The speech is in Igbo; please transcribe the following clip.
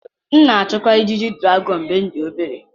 M na-achụkarị ijiji dragọn mgbe m dị obere.